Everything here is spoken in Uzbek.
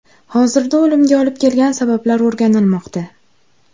Hozirda o‘limga olib kelgan sabablar o‘rganilmoqda.